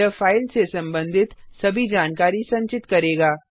यह फाइल से संबंधित सभी जानकारी संचित करेगा